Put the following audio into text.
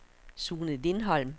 Sune Lindholm